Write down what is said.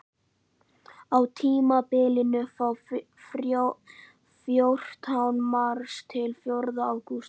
Á tímabilinu frá fjórtánda mars til fjórða ágúst.